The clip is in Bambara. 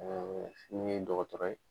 min ye dɔgɔtɔrɔ ye.